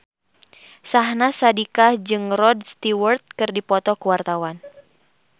Syahnaz Sadiqah jeung Rod Stewart keur dipoto ku wartawan